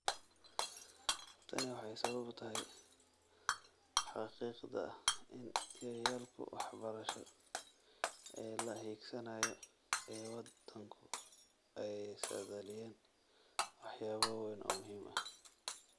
Tani waxay sabab u tahay xaqiiqda ah in yoolalka waxbarasho ee la hiigsanayo ee waddanku ay saadaaliyeen waxyaabo waaweyn oo muhiim ah.